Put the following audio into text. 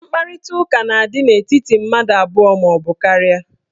Mkparitaụka na-adị n'etiti mmadụ abụọ maọbụ karịa.